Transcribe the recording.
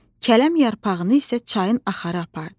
Kələm yarpağını isə çayın axarı apardı.